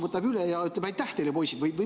Võtab nad üle ja ütleb, aitäh teile, poisid?